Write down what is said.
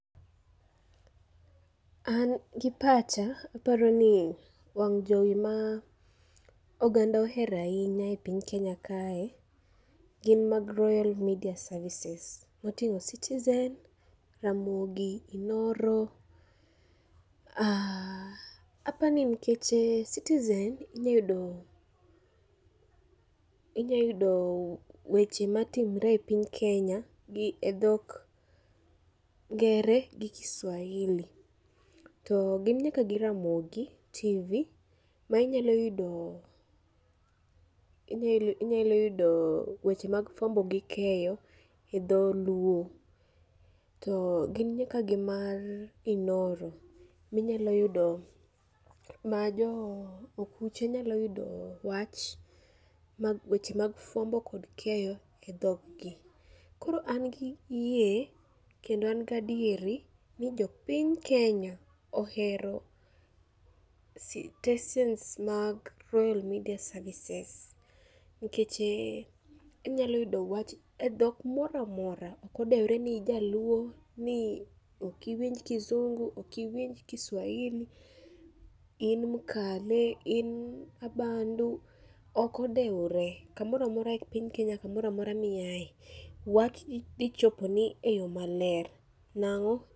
An gi pacha, aparo ni wang' jowi ma oganda ohero ahinya e piny Kenya kae gin mag Royal Media Services. Moting'o Citizen, Ramogi, Inooro, apani nikeche Citizen inya yudo, inya yudo weche matimre e piny Kenya gi e dhok ngere gi Kiswahili. To gin nyaka gi Ramogi TV ma inyalo yudo, inyalo yudo weche mag fuambo gi keyo gi Dholuo. To gin nyaka gi mar Inooro, minyalo yudo, ma jo okuche nyalo yudo wach mag weche mag fuambo kod keyo gi dhog gi. Koro an kod yie kendo an gadieri ni jo piny Kenya ohero sitensens mag Royal Media Services. Nikeche inyalo yudo wach e dhok moramora, okodewore ni ijaluo, ni okiwinj kizungu, okiwinj Kiswahili, in mkale, in abandu. Okodewore, kamora mora e piny Kenya kamora mora miae, wach dhi choponi e yo maler, nang'o?